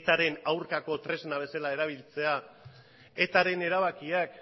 etaren aurkako tresna bezala erabiltzea etaren erabakiak